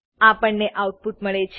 આપણને આઉટપુટ મળે છે